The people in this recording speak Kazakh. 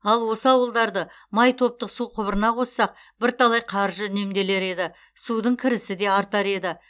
ал осы ауылдарды май топтық су құбырына қоссақ бірталай қаржы үнемделер еді судың кірісі де артар еді